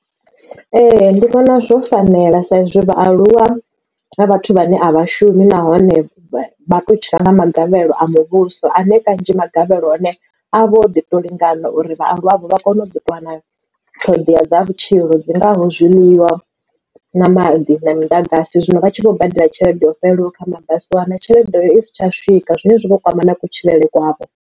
Ee ndi vhona zwo fanela sa izwi vhaaluwa vha vhathu vhane a vha shumi nahone vha to tshila nga magavhelo a muvhuso ane kanzhi magavhelo ahone a vha o ḓi to lingana uri vhaaluwa navho vha kone u ḓo ṱuwa na ṱhoḓea dza vhutshilo dzi ngaho zwiḽiwa na maḓi na miḓagasi. Zwino vha tshi vho badela tshelede yo fhelelaho kha mabasi u wana tshelede iyo i si tsha swika zwine zwa vho kwama na kutshilele kwavho.